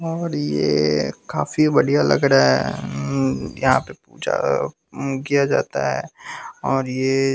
और ये काफी बढ़िया लग रहा है उम यहां पे पूजा उम किया जाता है और ये--